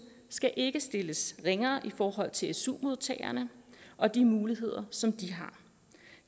skal ikke stilles ringere i forhold til su modtagerne og de muligheder som de har